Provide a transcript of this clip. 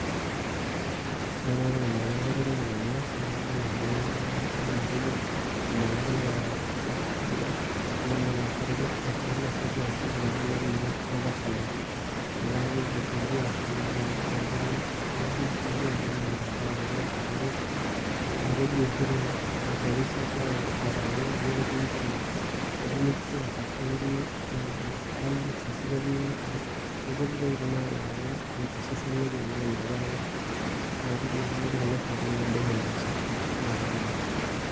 Ore ormarenke latoning'o tena, kadol ajo kaidim atejo ormarenke lena naishori ntasati ashu intomonok natashala. Nataa kiji fungua ashu nataa nanapita nkera tonkoshuak enye, ah keji oshi te research oldakitarini ketii oshi nutrients ashu ketii ions ashu ketii nkulie tokiting natala osesen lenye na ina pa ke natii kulo soitok naidim ainosa atanyaal.